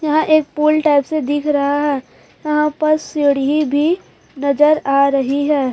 यहां एक पुल टाइप से दिख रहा है यहां पर सीढ़ी भी नजर आ रही है।